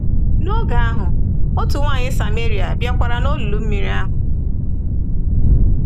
N’oge ahụ, otu nwanyị Samaria bịakwara n’olulu mmiri ahụ.